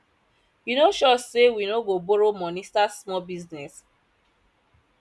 you no sure say we no go borrow money start small business